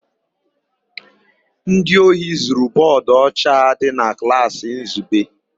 Ndị ohi zuru bọọdụ ọcha dị na klaasị Nzube.